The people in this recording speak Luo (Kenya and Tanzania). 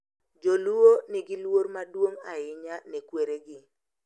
Jo-Luo nigi luor maduong’ ahinya ne kweregi.